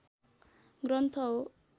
ग्रन्थ हो